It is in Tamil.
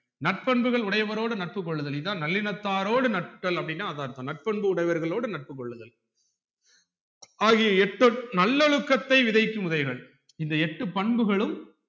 நட்பன்புகள் உடையவரோடு நட்புக்கொள்ளுதல் இதான் நல்லினதாரோடு நட்டல் அப்டினா அதான் அர்த்தம் நட்பன்பு உடையவர்க்களோடு நட்பு கொள்ளுதல்ஆகிய எட்டோ நல்லொழுக்கத்தை விதைக்கும் முறைகள் இந்த எட்டு பண்புகளும்